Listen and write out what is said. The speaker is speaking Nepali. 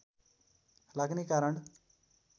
लाग्ने कारण